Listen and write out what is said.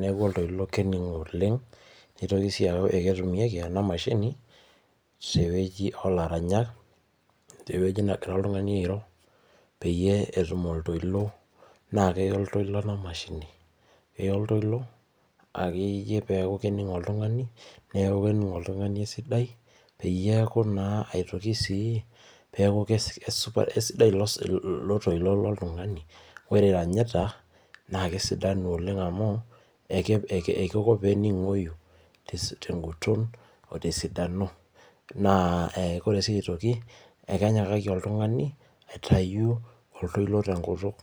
neaku oltoilo kening'oi oleng, neitoki sii aaku eketumieki ena emashini teweji oolaranyak, teweji negira oltungani airo peyie etum oltoilo, naa keio iltoilo le imashini, neyau iltoilo ake iyie peaku kening'o oltungani, neaku kening'o oltungani sidai, peyie eaku naa aitoki sii, peaku kesupat, esidai ilo toilo le ltungani, ore anyeita naa kesidanu oleng amuu, ekeiko peening'oi te nkuton oo te sidano, naa kore sii aitoki, ekenyoraki oltungani aitayu oltoilo te nkutuk.